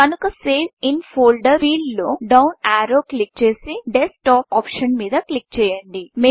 కనుక save in folderసేవ్ in folder field లో డౌన్ యారో క్లిక్ చేసి డెస్క్ టాప్ ఆప్షన్ మీద క్లిక్ చేయండి